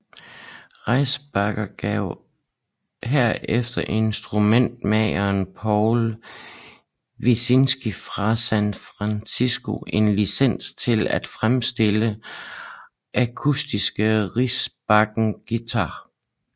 Rickenbacker gav herefter instrumentmageren Paul Wilczynski fra San Francisco en licens til af fremstille akustiske Rickenbacker guitarer